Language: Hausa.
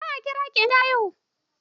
Zan kira ki in ta haihu.